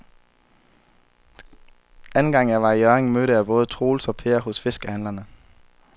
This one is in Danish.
Anden gang jeg var i Hjørring, mødte jeg både Troels og Per hos fiskehandlerne.